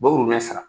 Bawo n'a sara